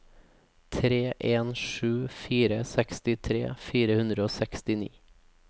tre en sju fire sekstitre fire hundre og sekstini